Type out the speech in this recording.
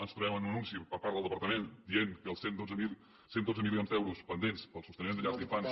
ens trobem amb un anunci per part del departament que diu que els cent i dotze milions d’euros pendents per al sosteniment de llars d’infants